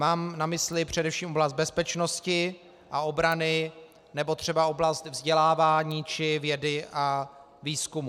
Mám na mysli především oblast bezpečnosti a obrany nebo třeba oblast vzdělávání či vědy a výzkumu.